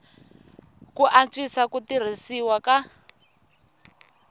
ku antswisa ku tirhisiwa ka